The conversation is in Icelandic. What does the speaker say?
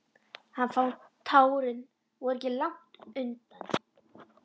Hann fann að tárin voru ekki langt undan.